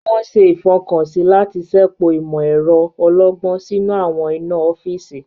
Wọn ṣe ifọkansi láti ṣepọ imọ-ẹrọ ọlọgbọn sínú awọn iná ọfiisi.